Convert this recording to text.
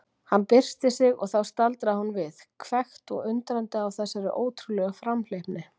Hann byrsti sig og þá staldraði hún við, hvekkt og undrandi á þessari ótrúlegu framhleypni.